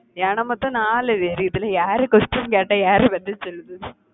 ஏன்னா மொத்தம் நாலு பேரு இதெல்லாம் யாரு question கேட்டா யாரு பதில் சொல்லுது